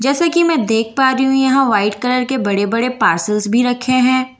जैसा की मैं देख पा रही यहाँ व्हाइट कलर के बडे़-बडे़ पार्सेल्स बी रखे हैं --